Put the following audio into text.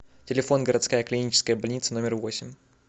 телефон городская клиническая больница номер восемь